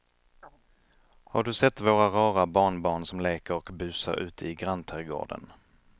Har du sett våra rara barnbarn som leker och busar ute i grannträdgården!